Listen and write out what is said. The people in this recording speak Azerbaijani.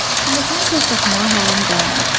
Pilləkanı tək qalxmağa halım qalmayıb.